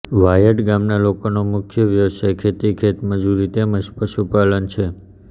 વાયડ ગામના લોકોનો મુખ્ય વ્યવસાય ખેતી ખેતમજૂરી તેમ જ પશુપાલન છે